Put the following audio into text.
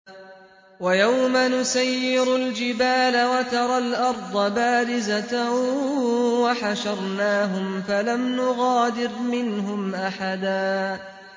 وَيَوْمَ نُسَيِّرُ الْجِبَالَ وَتَرَى الْأَرْضَ بَارِزَةً وَحَشَرْنَاهُمْ فَلَمْ نُغَادِرْ مِنْهُمْ أَحَدًا